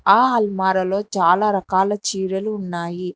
ఆ ఆల్మర లో చాలా రకాల చీరలు ఉన్నాయి.